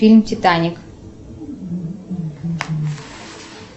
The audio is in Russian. фильм титаник